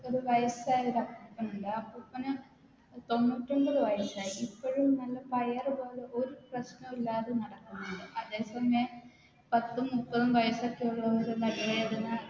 ഒരു വയസ്സായൊരു അപ്പൂപ്പനുണ്ട് ആ അപ്പൂപ്പന് തൊണ്ണൂറ്റൊമ്പത് വയസ്സായി ഇപ്പഴും നല്ല പയറ് പോലെ ഒരു പ്രശ്നോ ഇല്ലാതെ നടക്ക്ന്ന്ണ്ട് അതെ സമയം പത്തും മുപ്പതും വയസ്സൊക്കെ ഉള്ളോര് നടു വേദന